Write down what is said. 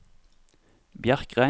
Bjerkreim